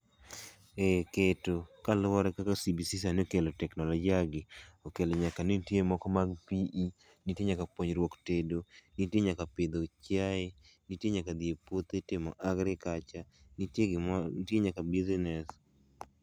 E keto, kaluwore kaka CBC sani okelo teknolojia gi, okelo nyaka ni nitie moko mag PE, nitie nyaka puonjruok tedo, nitie nyaka pidho chiae, nitie nyaka dhi e puothe timo Agriculture nitiie nitie nyaka Business.